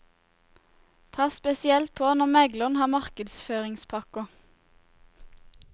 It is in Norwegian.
Pass spesielt på når megleren har markedsføringspakker.